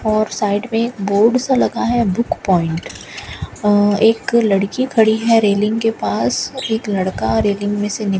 और साइड में बोर्ड सा लगा है बुक पॉइंट और एक लड़की खड़ी है रेलिंग के पास एक लड़का रेलिंग में से --